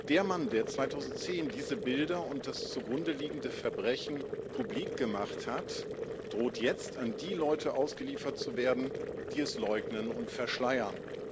Der Mann, der 2010 diese Bilder und das zu Grunde liegende Verbrechen publik gemacht hat, droht jetzt, an die Leute ausgeliefert zu werden, die es leugnen und verschleiern.